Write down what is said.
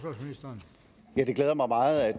meget at